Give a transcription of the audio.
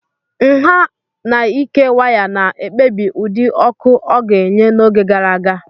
Nha and ike waya na-ekpebi ụdị ọkụ ọ ga-enye n'oge gara aga.